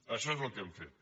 això és el que hem fet